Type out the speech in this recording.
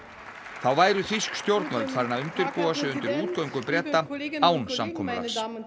þá væru þýsk stjórnvöld farin að undirbúa sig undir útgöngu Breta án samkomulags